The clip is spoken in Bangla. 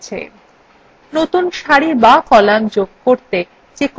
এখানে চারটি cells উজ্জ্বল হয়েছে